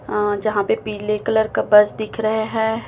अह जहां पीले कलर का बस दिख रहे हैं।